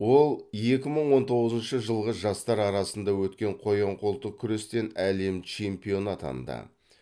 ол екі мың он тоғызыншы жылғы жастар арасында өткен қоян қолтық күрестен әлем чемпионы атанды